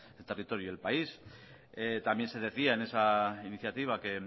el territorio y el país también se decía en esa iniciativa que